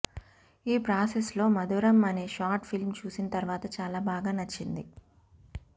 ఈ ప్రాసెస్లో మధురం అనే షార్ట్ ఫిలిమ్ చూసిన తర్వాత చాలా బాగా నచ్చింది